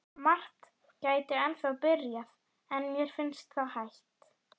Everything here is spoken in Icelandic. Margt gæti ennþá byrjað, en mér finnst það hætt.